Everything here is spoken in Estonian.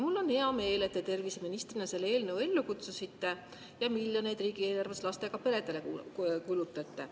Mul on hea meel, et te terviseministrina selle eelnõu ellu kutsusite ja kulutate riigieelarvest miljoneid lastega peredele.